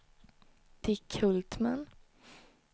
Dick Hultman